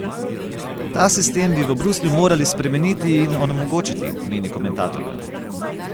Ta sistem bi v Bruslju morali spremeniti in onemogočiti, meni komentatorka.